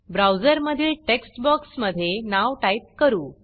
ब्राऊजरमधील text बॉक्समधे नाव type करू